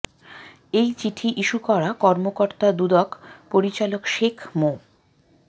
এই চিঠি ইস্যু করা কর্মকর্তা দুদক পরিচালক শেখ মো